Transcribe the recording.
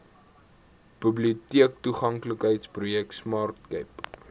biblioteektoeganklikheidsprojek smart cape